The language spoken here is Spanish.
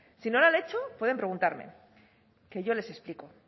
si no lo han hecho pueden preguntarme que yo les explico